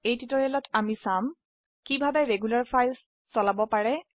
এই টিউটোৰিয়েলত আমি চাম কিভাবে নিয়মিত ফাইল চলাব পাৰে